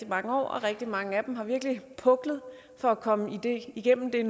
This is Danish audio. mange år og rigtig mange af dem har virkelig puklet for at komme igennem det